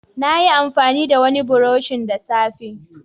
Nayi amfani da wani burushin da safe